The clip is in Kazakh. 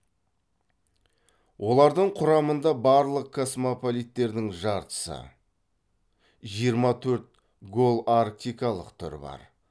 олардың құрамында барлық космополиттердің жартысы жиырма төрт голарктикалық түрі бар